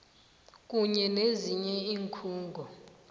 kunye nezinye iinkhungo